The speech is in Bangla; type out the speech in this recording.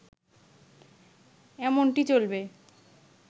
এমনটি চলবে